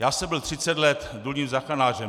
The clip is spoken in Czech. Já jsem byl 30 let důlním záchranářem.